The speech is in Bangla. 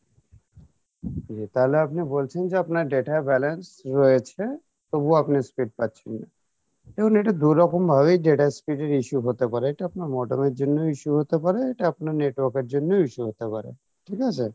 তালে আপনি বলছেন যে আপনার data balance রয়েছে তবুও আপনি use করতে পারছেন না দেখুন এটা দুরকম ভাবে data speed এর issue হতে পারে এটা আপনার modem এর জন্য issue হতে পারে এটা আপনার network এর জন্য issue হতে পারে ঠিক আছে?